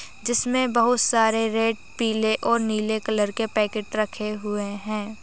जिसमे बहत सारे रेड पीले और नीले कलर के पॅकेट रखे हुए है।